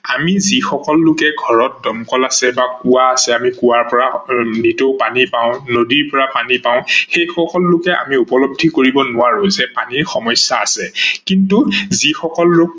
আমি যিসকল লোকে ঘৰত দমকল আছে বা কোৱা আছে ।আমি কোৱাৰ পৰা যিটো পানী পাও বা নদীৰ পৰা পানী পাও সেই সকলো লোকে আমি উপলব্ধি কৰিব নোৱাৰো যে পানীৰ সমস্যা আছে কিন্তু যিসকল লোক